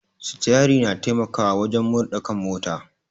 Sitiari na taimakawa wajen murɗa kan mota